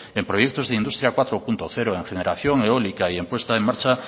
en proyectos de industria cuatro punto cero en generación eólica y en puesta en marcha